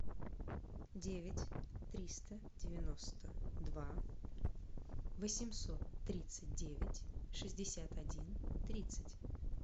девять триста девяносто два восемьсот тридцать девять шестьдесят один тридцать